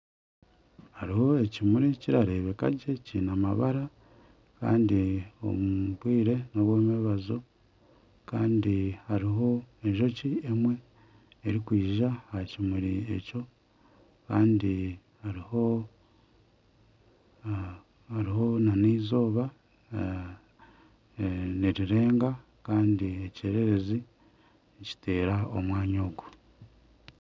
Hariho ekirmuri kirareebeka gye kiine amabara kandi omu bwire n'obw'omumwabazyo. Kandi hariho enjoki emwe erikwija aha kimuri ekyo. Kandi hariho hariho nana eizooba. Nirirenga kandi ekyererezi nikiteera omwanya ogu.